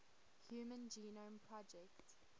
human genome project